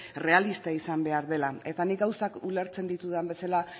errealista izan behar dela eta nik gauzak ulertzen ditudan bezala